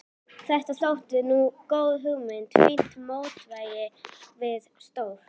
Þetta þótti nú góð hugmynd, fínt mótvægi við stór